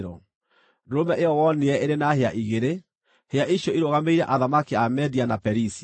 Ndũrũme ĩyo wonire ĩrĩ na hĩa igĩrĩ, hĩa icio irũgamĩrĩire athamaki a Media na Perisia.